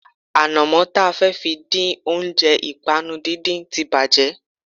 Ànàmó ta fẹ́ fi dín oúnjẹ ìpànu díndín tí bàjé